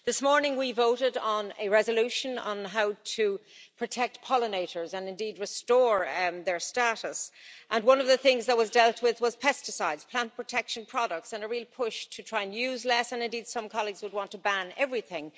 This morning we voted on a resolution on how to protect pollinators and indeed restore their status, and one of the things that was dealt with was pesticides, plant protection products and a real push to try and use less, and indeed some colleagues would want to ban everything.